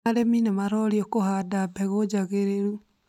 Arĩmi nĩmarorio kũhanda mbegũ njagĩrĩru